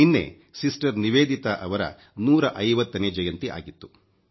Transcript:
ನಿನ್ನೆ ಸಿಸ್ಟರ್ ನಿವೇದಿತಾ ಅವರ 150 ನೇ ಜಯಂತಿ ಆಗಿತ್ತು